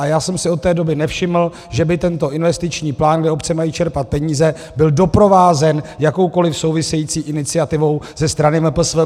A já jsem si od té doby nevšiml, že by tento investiční plán, kde obce mají čerpat peníze, byl doprovázen jakoukoliv související iniciativou ze strany MPSV.